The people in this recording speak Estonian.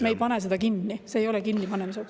Me ei pane seda kinni, see ei ole kinnipanemise otsus.